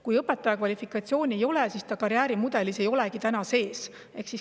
Kui õpetaja kvalifikatsiooni ei ole, siis ta ei olegi karjäärimudelis sees.